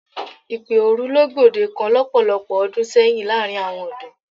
Ìpè òru ló gbòdekan lọ́pọ̀lọpọ̀ ọdún sẹ́yìn láàrin àwọn ọ̀dọ́.